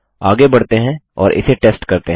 आगे बढ़ते हैं और इसे टेस्ट करते हैं